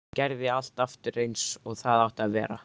Gerði allt aftur eins og það átti að vera.